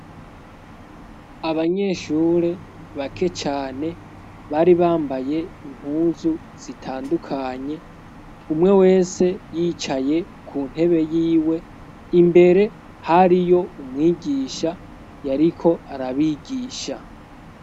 Abanyeshure bake cane bari bambaye impuzu zitandukanye umwe wese yicaye ku ntebe yiwe imbere hari yo umwigisha yariko arabigisha.